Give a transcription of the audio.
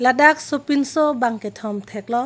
ladak so pinso bang kethom theklong.